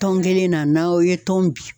Tɔn kelen na n'aw ye tɔn bin